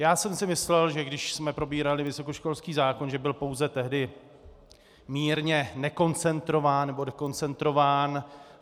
Já jsem si myslel, že když jsme probírali vysokoškolský zákon, že byl pouze tehdy mírně nekoncentrován nebo dekoncentrován.